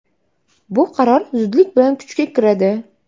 Bu qaror zudlik bilan kuchga kiradi.